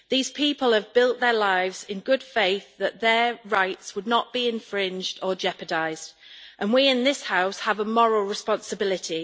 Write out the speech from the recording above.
These people have built their lives in good faith that their rights would not be infringed or jeopardised, and we in this House have a moral responsibility.